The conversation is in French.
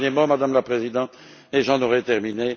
Un dernier mot, Madame la Présidente, et j'en aurai terminé.